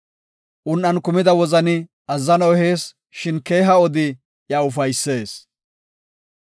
Un7an kumida wozani azzano ehees; shin keeha odi iya ufaysees.